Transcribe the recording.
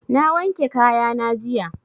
Na wanke kaya na jiya